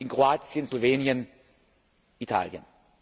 in Kroatien, Slowenien, Italien.